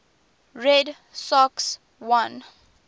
red sox won